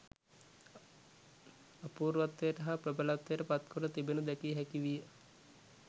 අපූර්වත්වයට හා ප්‍රබලත්වයට පත් කොට තිබෙනු දැකිය හැකි විය